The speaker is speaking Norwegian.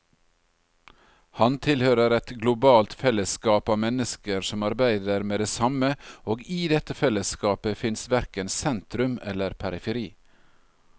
Han tilhører et globalt fellesskap av mennesker som arbeider med det samme, og i dette fellesskapet fins verken sentrum eller periferi.